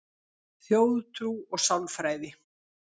Þjóðtrú og sálfræði